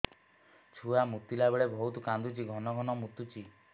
ଛୁଆ ମୁତିଲା ବେଳେ ବହୁତ କାନ୍ଦୁଛି ଘନ ଘନ ମୁତୁଛି